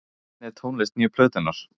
Hvernig er tónlist nýju plötunnar?